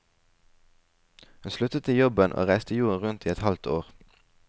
Hun sluttet i jobben og reiste jorden rundt i et halvt år.